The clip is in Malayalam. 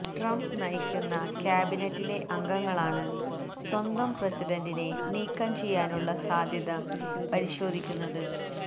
ട്രംപ് നയിക്കുന്ന ക്യാബിനറ്റിലെ അംഗങ്ങളാണ് സ്വന്തം പ്രസിഡന്റിനെ നീക്കം ചെയ്യാനുള്ള സാധ്യത പരിശോധിക്കുന്നത്